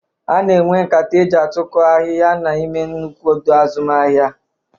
Ana enwe nkata eji atụtụkọ ahịa n'ime nnukwu ọdọ azụmahịa.